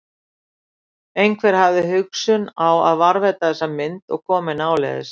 Einhver hafði haft hugsun á að varðveita þessa mynd og koma henni áleiðis.